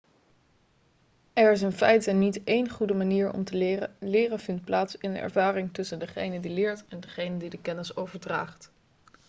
er is in feite niet één goede manier om te leren leren vindt plaats in de ervaring tussen degene die leert en degene die de kennis overdraagt